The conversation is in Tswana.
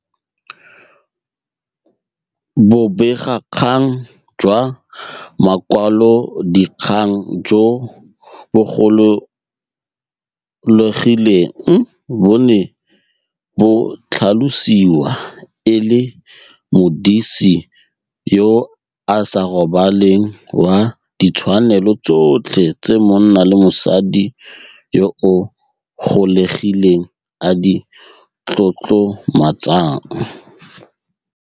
Bobegakgang jwa makwalodikgang jo bogololegileng bo ne bo tlhalosiwa e le 'modisi yo a sa robaleng wa ditshwanelo tsotlhe tse monna le mosadi yo a gololegileng a di tlotlomatsang'.